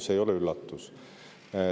See ei ole üllatus.